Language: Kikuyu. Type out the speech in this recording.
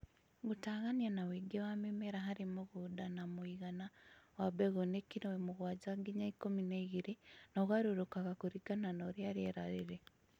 Gũtagania na ũingĩ wa mĩmera harĩ mũgũnda na mũigana wa mbegũ nĩ kilo mũgwanja nginya ikũmi na igĩrĩ na ũgarũrũkaga kũringana na ũrĩa rĩera rĩrĩ.